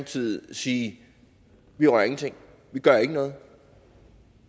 side sige vi rører ingenting vi gør ikke noget